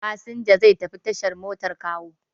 Fasinja zai tafi tashar motar Kawo.